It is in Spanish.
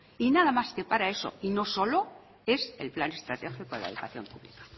y nada más que para eso y no solo es el plan estratégico de la educación pública